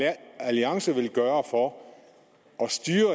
alliance ville gøre for